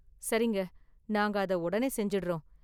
சரிங்க, நாங்க அதை உடனே செஞ்சிடுறோம்.